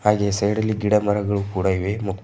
ಹಾಗೆ ಈ ಸೈಡಲ್ಲಿ ಗಿಡ ಮರಗಳು ಕೂಡ ಇವೆ--